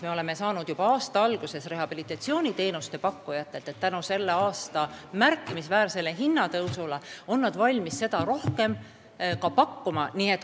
Me oleme juba aasta alguses saanud rehabilitatsiooniteenuste pakkujatelt signaale, et tänu tänavusele märkimisväärsele hinnatõusule on nad valmis rohkem teenuseid pakkuma.